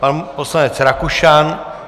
Pan poslanec Rakušan.